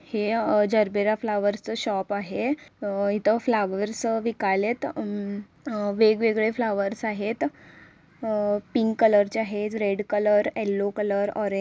हे gerbera flowers च shop आहे अ इथं फ्लावर्स विकायलेत हम्म वेगवेगळे फ्लावर्स आहेत अ पिंक कलर चे आहेत रेड कलर येल्लो कलर ऑरे--